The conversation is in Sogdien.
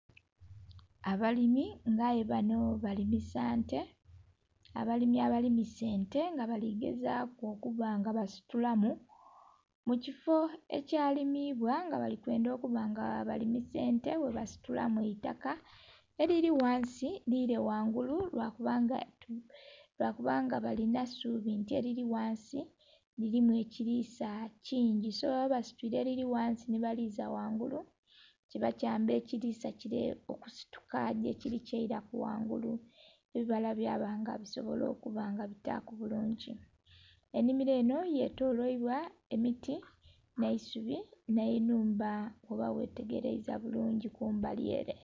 Abalimi nga'ye bano balimisa nte , abalimi abalimisa ente nga baligezaku okuba nga basitumu mukifo ekya limibwa nga bali kwendha okuba nga balimisa ente bwebasitula mwiitaka elili ghansi lile ghangulu lwakuba nga balinha suubi nti elili ghansi lilimu ekilisa kingi, so baba basitula elili ghansi nhe baliza ghangulu kiba kyamba ekilisa kile okusituka gye kili kyelaku ghangulu ebibala bya ba nga bisobola okuba nga bitaku bulungi. Enhimilo enho yetolelya emiti nh'eisubi nhe nhumba bwooba nga ghetegeleza bulungi kumbalye ere.